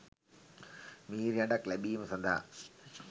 මිහිරි හඬක් ලැබීම සඳහා